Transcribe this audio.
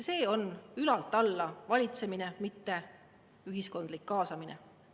See on ülalt alla valitsemine, mitte ühiskondlik kaasamine.